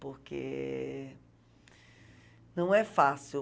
Porque não é fácil.